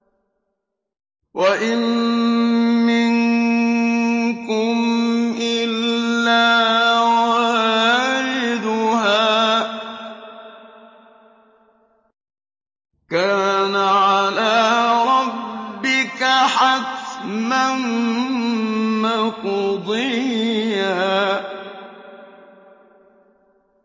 وَإِن مِّنكُمْ إِلَّا وَارِدُهَا ۚ كَانَ عَلَىٰ رَبِّكَ حَتْمًا مَّقْضِيًّا